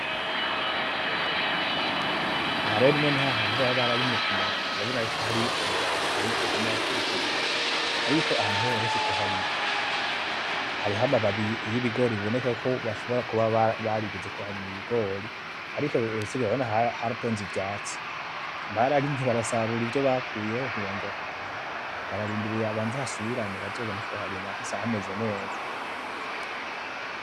Aha rero nimwene hamwe baba bararimye kumurongo, hari kumurongo hagenda hari kumurongo. Ariko aha ntibaherutse kuharima, hariho amababi yibigori biboneka ko bashobora kuba barigeze kuharima ibigori, ariko ibisigaye urabona ko haratonze ivyatsi. Bararimye basarura ivyo bakuyemwo ntibongera kuharima, bararindiriye habanze hasubirane bazobone kuharima hameze neza.